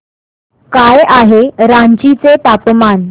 काय आहे रांची चे तापमान